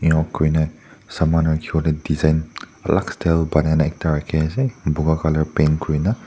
saman rakhiwo lae design alak style banai na ekta rakhiase buka colour paint kurina.